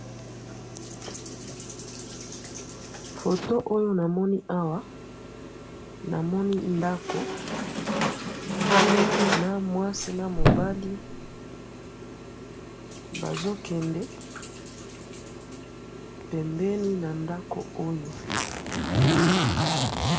photo oyo namoni awa , namoni ndako na mwasi na mobali bazo kende pembeni na ndako oyo